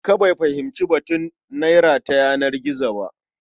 Kaka bai fahimci batun naira ta yanar gizo ba.